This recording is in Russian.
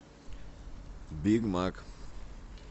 биг мак